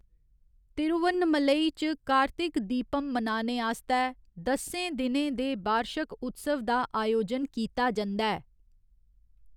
तिरुवन्नमलई च कार्तिक दीपम मनाने आस्तै दस्सें दिनें दे बार्शक उत्सव दा आयोजन कीता जंदा ऐ।